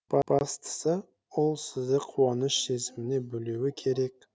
бастысы ол сізді қуаныш сезіміне бөлеуі керек